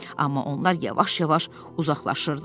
Amma onlar yavaş-yavaş uzaqlaşırdılar.